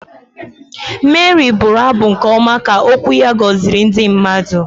Meri bụrụ abụ nke ọma ka okwu ya gọziri ndị mmadụ.